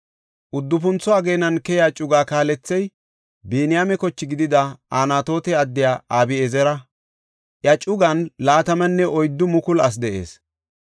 Uddufuntho ageenan keyiya cugaa kaalethey Biniyaame koche gidida Anatoote addiya Abi7ezera; iya cugan 24,000 asi de7ees.